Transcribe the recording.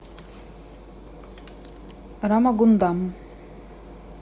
рамагундам